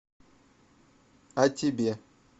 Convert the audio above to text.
а тебе